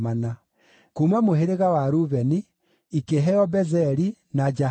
kuuma mũhĩrĩga wa Rubeni, ikĩheo Bezeri, na Jahazu,